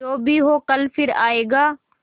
जो भी हो कल फिर आएगा